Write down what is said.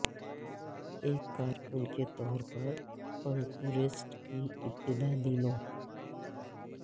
ایک کارکن کے طور پر پنکھورسٹ کی ابتدائی دنوں